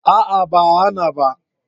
A'a ba a hana ba